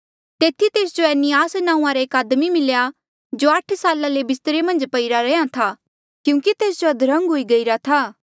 तेथी तेस जो एनियास नांऊँआं रा एक आदमी मिल्या जो आठ साला ले बिस्तरे मन्झ पई रैंहयां ऐें था क्यूंकि तेस जो अद्रंग हुई गईरा था